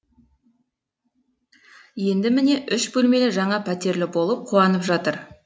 енді міне үш бөлмелі жаңа пәтерлі болып қуанып жатыр